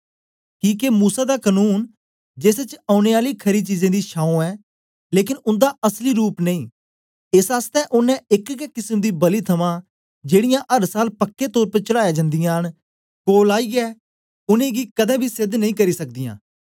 किके मूसा दा कनून जेस च औने आली खरी चीजें दी छाऊं ऐ लेकन उन्दा असली रूप नेई एस आसतै ओनें एक गै किसम दी बलि थमां जेड़ीयां अर साल पक्के तौर पर चढ़ायां जन्दीयां न कोल आईयै उनै आलें गी कदें बी सेध नेई करी सकदयां